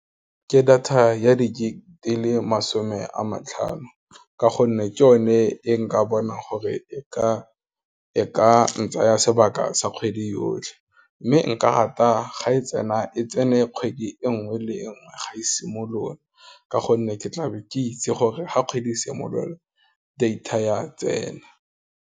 Ke data ya di gig le masome a matlhano, ka gonne ke o ne e nka bonang gore e ka ntsaya sebaka sa kgwedi yotlhe, mme nka rata ga e tsena, e tsene kgwedi e nngwe le nngwe ga e simolola, ka gonne ke tla be ke itse gore ga kgwedi e simolola, data ya tsena.